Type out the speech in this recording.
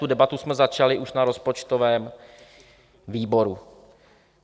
Tu debatu jsme začali už na rozpočtovém výboru.